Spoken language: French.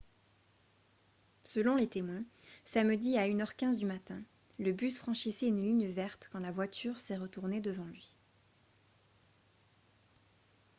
selon les témoins samedi à 1 h 15 du matin le bus franchissait une ligne verte quand la voiture s'est retournée devant lui